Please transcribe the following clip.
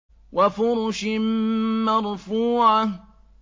وَفُرُشٍ مَّرْفُوعَةٍ